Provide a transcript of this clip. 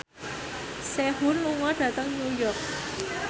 Sehun lunga dhateng New York